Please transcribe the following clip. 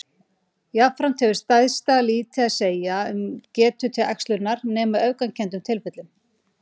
Jafnframt hefur stærðin lítið að segja um getu til æxlunar nema í öfgakenndum tilfellum.